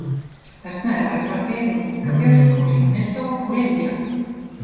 Þarna er Örvar Geir og Inga Björk og Hrímnir Þór og Lilja